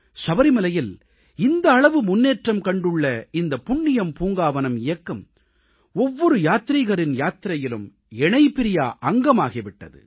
சபரிமலையில் இந்த அளவு முன்னேற்றம் கண்டுள்ள இந்த புண்ணியம் பூங்காவனம் இயக்கம் ஒவ்வொரு யாத்ரீகரின் யாத்திரையிலும் இணைபிரியா அங்கமாகி விட்டது